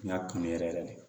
N y'a kanu yɛrɛ de